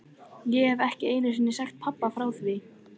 Ég hef ekki einu sinni sagt pabba frá því.